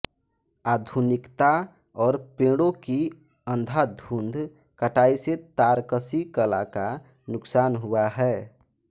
आधुनिकता और पेड़ों की अंधाधुंध कटाई से तारकशी कला का नुकसान हुआ है